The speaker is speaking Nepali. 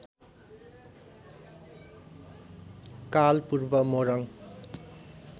काल पूर्व मोरङ